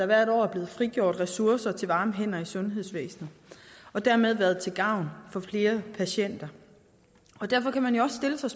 hvert år er blevet frigjort ressourcer til varme hænder i sundhedsvæsenet og dermed været til gavn for flere patienter derfor kan man også stille sig